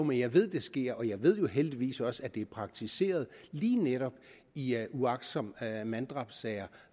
men jeg ved at det sker jeg ved heldigvis også at det er praktiseret lige netop i uagtsomt manddrabssager